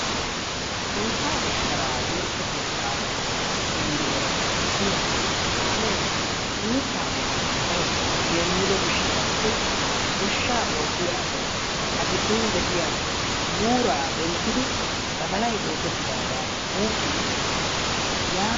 Ankkaa shasharaa timirte keetta pengeera biya kaamee mitaa gidon darotoo geemmido gishshataassi goshshaa oottiya asay A giddon de'iya buuraa denttidi badalay oosetidaagaa wuuqiichchoosona. yaatidi